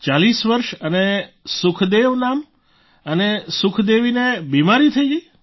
40 વર્ષ અને સુખદેવ નામ અને સુખદેવીને બિમારી થઈ ગઈ